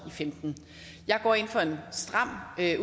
og femten jeg går ind for en stram